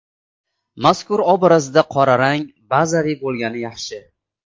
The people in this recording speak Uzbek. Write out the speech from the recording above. Mazkur obrazda qora rang bazaviy bo‘lgani yaxshi.